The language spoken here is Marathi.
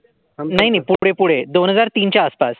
नाही नाही पुढे पुढे दोन हजार तीन च्या आसपास.